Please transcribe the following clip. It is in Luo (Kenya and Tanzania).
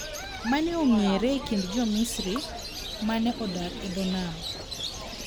Mane ong'ere e kind Jo-Misri ma ne odak e dho nam.